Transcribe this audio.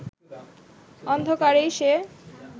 অন্ধকারেই সে